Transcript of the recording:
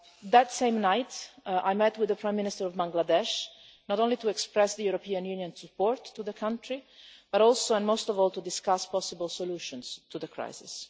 That same night, I met with the Prime Minister of Bangladesh, not only to express the European Union's support for the country, but also, and most importantly, to discuss possible solutions to the crisis.